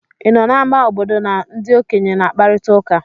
Ị nọ n'ámá obodo na ndị okenye na-akparịta ụka?